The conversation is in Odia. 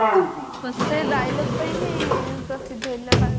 ସେ dialog ପାଇଁ ପ୍ରସିଦ୍ଧ ହେଇଥିଲା ବାସ୍